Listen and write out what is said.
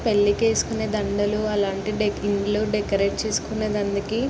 పెళ్ళికి ఏసుకునే దండలు. అలాంటి డెకరేట్ చేసుకున్నది అందుకి.